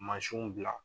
Mansinw bila